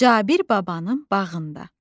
Cabir babanın bağında.